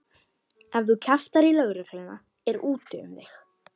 Ef þú kjaftar í lögregluna er úti um þig.